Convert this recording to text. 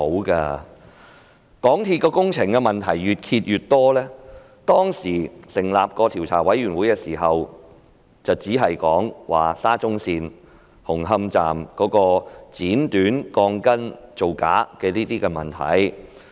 港鐵公司的工程問題越揭越多，當時成立調查委員會時，調查範圍只涵蓋沙中線紅磡站鋼筋被剪短造假的問題。